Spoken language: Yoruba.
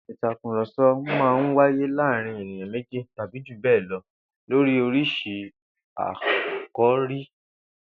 Ìtàkurò̩so̩ máa n wáyé láàárín ènìyàn méjì tàbí jù bé̩è̩ lo̩ lórí orísirísi àkòrí